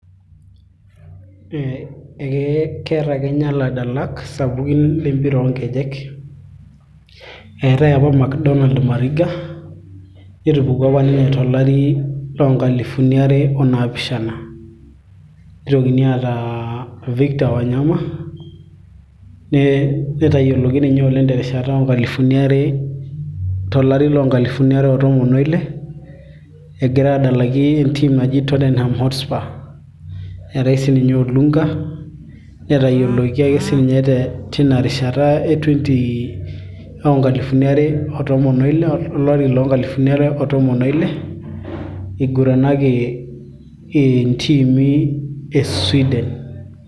eh, ekeeta kenya iladalak sapukin lempira oonkejek eetay apa Mcdonal mariga netupukuo apa ninye tolari loonkalifuni are onaapishana nitokin aata Victor wanyama netayioloki ninye oleng terishata oonkalifuni are, tolari loonkalifuni are o tomon oile egira adalaki en team naji totenham hotspur nreetay sininye Olunga netayioloki ake sininye tina rishata e twenti oonkalifuni are o tomon oile olari loonkalifuni are otomon oile iguranaki intimi e Sweden.